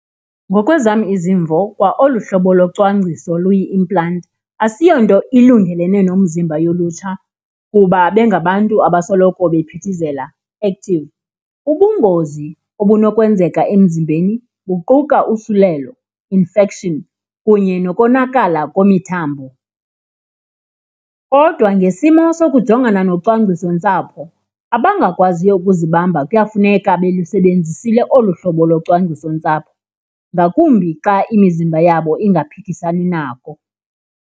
Ngokwezam izimvo kwaolu hlobo locwangciso luyi-implant asiyonto ilungelene nomzimba yolutsha kuba bengabantu abasoloko bephithizela, active. Ubungozi obunokwenzeka emzimbeni buquka usulelo, infection, kunye nokonakala kwemithambo. Kodwa ngesimo sokujongana nocwangcisontsapho, abangakwaziyo ukuzibamba kuyafuneka belisebenzisekile olu hlobo locwangcisontsapho, ngakumbi xa imizimba yabo ingaphikisani nako.